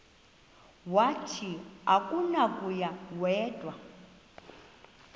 wathi akunakuya wedw